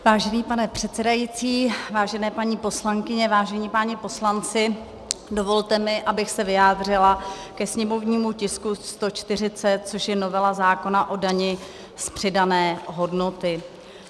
Vážený pane předsedající, vážené paní poslankyně, vážení páni poslanci, dovolte mi, abych se vyjádřila ke sněmovnímu tisku 140, což je novela zákona o dani z přidané hodnoty.